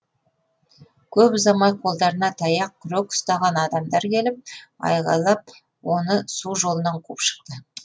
көп ұзамай қолдарына таяқ күрек ұстаған адамдар келіп айғайлап оны су жолынан қуып шықты